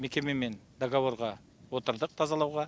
мекемемен договорға отырдық тазалауға